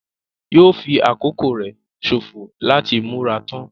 Yóò fi àkókò rẹ sòfò láti múra tán.